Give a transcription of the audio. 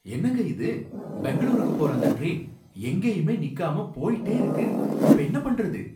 என்னங்க இது! பெங்களூருக்கு போற அந்த டிரெயின் எங்கேயுமே நிக்காம போயிட்டே இருக்கு, இப்ப என்ன பண்றது?